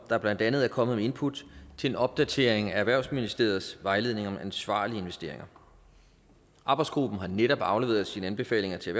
blandt andet er kommet med input til en opdatering af erhvervsministeriets vejledning om ansvarlige investeringer arbejdsgruppen har netop afleveret sine anbefalinger til